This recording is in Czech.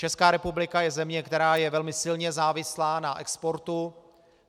Česká republika je země, která je velmi silně závislá na exportu.